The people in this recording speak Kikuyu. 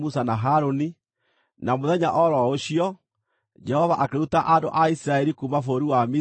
Na mũthenya o ro ũcio, Jehova akĩruta andũ a Isiraeli kuuma bũrũri wa Misiri na ikundi ciao.